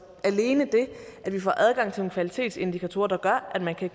alene det at vi får adgang til nogle kvalitetsindikatorer der gør at man kan